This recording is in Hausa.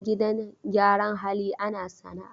A gidan gyaran hali ana sana'a.